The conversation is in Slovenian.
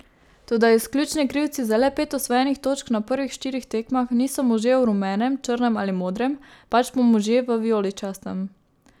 Toda izključni krivci za le pet osvojenih točk na prvih štirih tekmah niso možje v rumenem, črnem ali modrem, pač pa možje v vijoličastem.